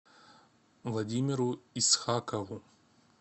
владимиру исхакову